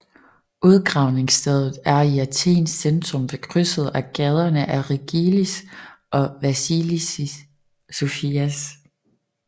Udgravningsstedet er i Athens centrum ved krydset af gaderne Rigillis og Vasilissis Sofias